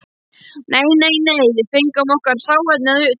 Nei, nei, nei, við fengum okkar hráefni að utan.